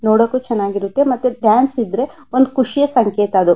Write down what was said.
ನೋಡಕ್ಕೂ ಚೆನ್ನಾಗಿ ಇರುತ್ತೆ ಚಾನ್ಸ್ ಇದ್ರೆ ಒಂದು ಖುಷಿಯ ಸಂಕೇತ ಅದು.